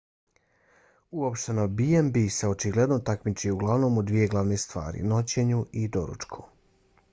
uopšteno b&b se očigledno takmiči uglavnom u dvije glavne stvari: noćenju i doručku